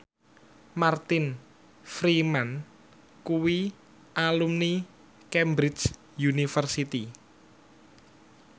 Martin Freeman kuwi alumni Cambridge University